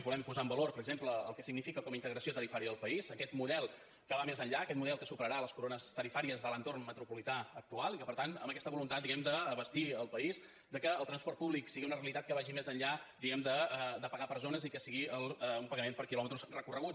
volem posar en valor per exemple el que significa com a integració tarifària del país aquest model que va més enllà aquest model que superarà les corones tarifàries de l’entorn metropolità actual i que per tant amb aquesta voluntat d’abastir el país de que el transport públic sigui una realitat que vagi més enllà diguem ne de pagar per zones i que sigui un pagament per quilòmetres recorreguts